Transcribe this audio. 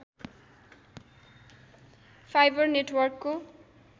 fibre नेटवर्कको